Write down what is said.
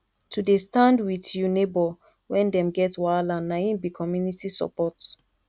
to dey stand wit you nebor wen dem get wahala na im be community support